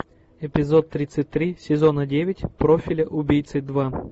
эпизод тридцать три сезона девять профиля убийцы два